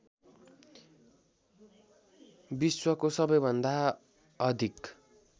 विश्वको सबैभन्दा अधिक